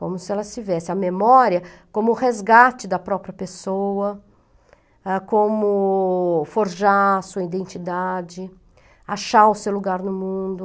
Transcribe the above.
Como se ela tivesse a memória como resgate da própria pessoa, como forjar sua identidade, achar o seu lugar no mundo.